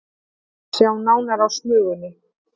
Sjá nánar á Smugunni